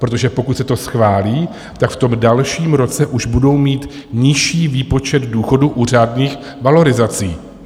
Protože pokud se to schválí, tak v tom dalším roce už budou mít nižší výpočet důchodu u řádných valorizací.